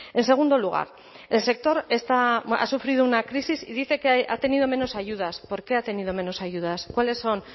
en segundo lugar el sector ha sufrido una crisis y dice que ha tenido menos ayudas por qué ha tenido menos ayudas cuáles son